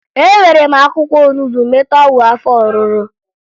Ewere m akwụkwọ onubo meta ọgwụ afọ ọrụrụ